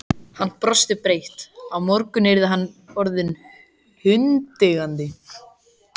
Hann brosti breitt: Á morgun yrði hann orðinn hundeigandi!